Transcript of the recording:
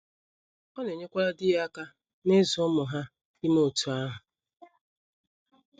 Ọ na - enyekwara di ya aka n’ịzụ ụmụ ha ime otú ahụ.